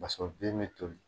paseke o bin be toli